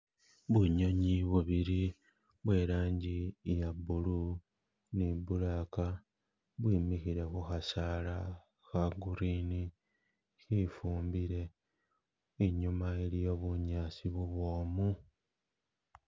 Bunyonyi bubili bwelangi iya blue ni black bwimikhile kukhasaala kha green khifumbile inyuma iliyo bunyasi bubwomu.